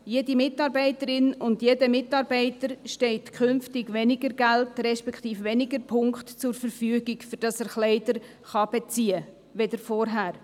Jeder Mitarbeiterin und jedem Mitarbeiter steht künftig weniger Geld, respektive weniger Punkte zur Verfügung, damit er Kleider beziehen kann, als zuvor.